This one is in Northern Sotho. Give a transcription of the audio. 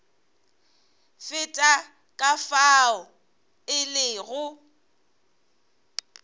feta ka fao e lego